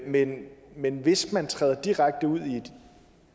men men hvis man træder direkte ud i et